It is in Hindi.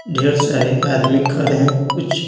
ढेर सारे आदमी खड़े हैं कुछ--